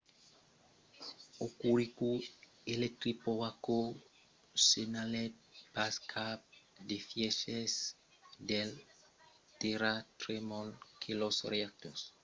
hokuriku electric power co. senhalèt pas cap d'efièches del tèrratremol e que los reactors numèro 1 e 2 a sa centrala nucleara de shika èran estats arrestats